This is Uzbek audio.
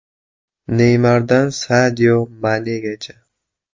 Neymardan Sadio Manegacha.